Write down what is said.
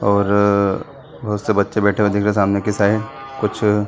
और बहोत से बच्चे बैठे हुए दिख रहे है सामने की साइड कुछ --